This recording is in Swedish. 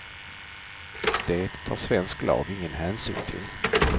Det tar svensk lag ingen hänsyn till.